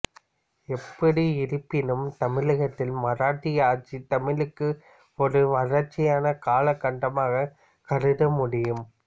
எப்படி இருப்பினும் தமிழகத்தில் மராட்டிய ஆட்சி தமிழுக்கு ஒரு வறட்சியான கால கட்டமாகவே கருதமுடியும்